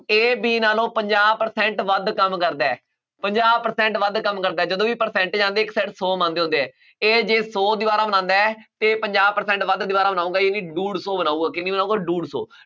A B ਨਾਲੋਂ ਪੰਜਾਹ percent ਵੱਧ ਕੰਮ ਕਰਦਾ ਹੈ, ਪੰਜਾਹ percent ਵੱਧ ਕੰਮ ਕਰਦਾ ਹੈ। ਜਦੋਂ ਵੀ percentage ਆਉਂਦੀ, ਇੱਕ side ਸੌ ਮੰਨਦੇ ਹੁੰਦੇ ਆ, ਇਹ ਜੇ ਸੌ ਦੀਵਾਰਾਂ ਮੰਨਦਾ, ਫੇਰ ਪੰਜਾਹ percent ਵੱਧ ਦੀਵਾਰਾਂ ਬਣਾਊਗਾ, ਇਹ ਬਈ ਡੂਢ ਸੌ ਬਣਾਊਗਾ, ਕਿੰਨੀ ਬਣਾਊਗਾ, ਡੂਢ ਸੌ,